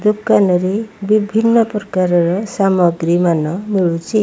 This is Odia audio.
ଦୋକାନରେ ବିଭିନ୍ନ ପ୍ରକାରର ସମାଗ୍ରୀମାନ ମିଳୁଛି।